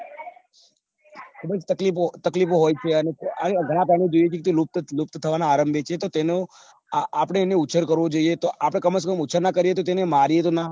ખુબજ તકલીફો તકલીફો હોય છે અને ઘણા પ્રાણીઓ લુપ્ત થવાના લુપ્ત થવાના આરંભે છે તો તેનો આપડે આપડે એને ઉછેર કરવો જોઈએ આપડે કમસેકમ ઓછા ના કરીએ તો મારીએ તો ના